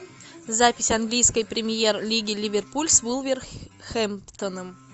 запись английской премьер лиги ливерпуль с вулверхэмптоном